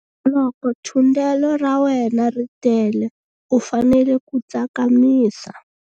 Loko thundelo ra wena ri tele u fanele ku tsakamisa.